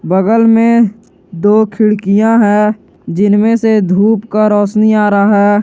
बगल में दो खिड़कियां हैं जिनमें से धूप का रौशनी आ रहा है।